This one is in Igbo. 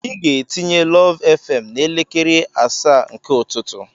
Ị ga-etinye lụv fm n'elekere asaa nke ụtụtụ.